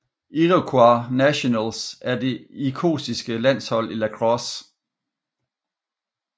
Iroquois Nationals er det irokesiske landshold i lacrosse